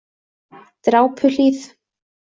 Drápuhlíð